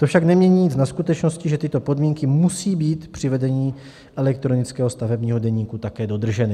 To však nemění nic na skutečnosti, že tyto podmínky musí být při vedení elektronického stavebního deníku také dodrženy.